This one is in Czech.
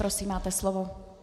Prosím, máte slovo.